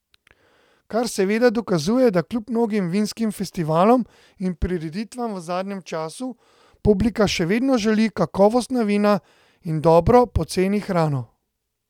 Kar seveda dokazuje, da kljub mnogim vinskim festivalom in prireditvam v zadnjem času, publika še vedno želi kakovostna vina in dobro, poceni hrano.